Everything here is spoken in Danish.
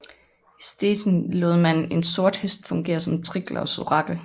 I Stettin lod man en sort hest fungere som Triglavs orakel